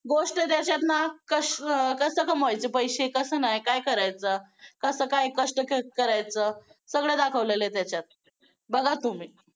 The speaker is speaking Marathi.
गोष्ट त्याच्यातनं कसं कमवायचे पैसे कसं नाही काय करायचं. कसं काय कष्ट करायचं. सगळं दाखवलेलं आहे त्याच्यात बघा तुम्ही